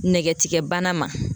Nɛgɛtigɛbana ma